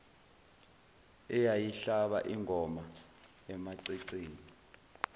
eyayihlaba ingoma emaceceni